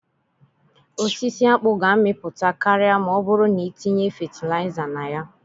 Osisi akpu ga-amịpụta karịa ma ọ bụrụ na itinye fatịlaịza na ya.